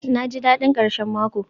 naji dadin karshen mako